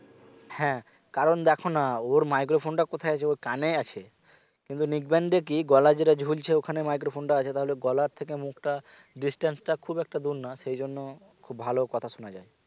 হ্যাঁ কারণ দেখনা ওর microphone টা কোথায় আছে ওর কানে আছে কিন্তু neckband এ কি গলায় যেটা ঝুলছে ওখানে microphone টা আছে তাহলে গলার থেকে মুখটা distance টা খুব একটা দূর না সেই জন্য খুব ভালো কথা শোনা যায়